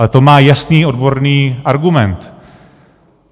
Ale to má jasný odborný argument.